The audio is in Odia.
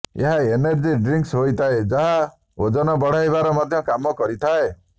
ଏହା ଏନର୍ଜି ଡ୍ରିଙ୍କସ୍ ହୋଇଥାଏ ଯାହା ଓଜନ ବଢାଇବାର ମଧ୍ୟ କାମ କରିଥାଏ